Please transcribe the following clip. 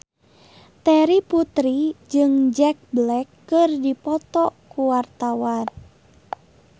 Terry Putri jeung Jack Black keur dipoto ku wartawan